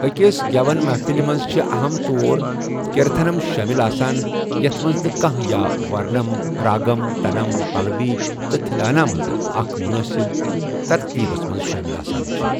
أکِس گٮ۪وَن محفِلہِ منٛز چھِ اَہم طور کیٖرتَھنم شٲمِل آسان، یَتھ منٛز نہ كانہہ یا ورنم، راگم، تَنم، پَلَوی تہٕ تِھلانہ منٛزٕ اَکھ مُنٲسِب ترتیٖبس منٛز شٲمِل آسان چھِ ۔